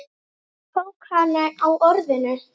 Hann tók hana á orðinu.